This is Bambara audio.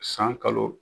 San kalo